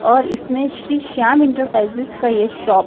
और इसमें श्री श्याम इंटरप्राइजेज का ये शॉप --